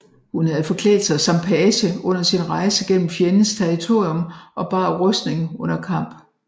Hun havde forklædt sig som page under sin rejse gennem fjendens territorium og bar rustning under kamp